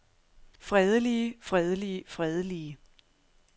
fredelige fredelige fredelige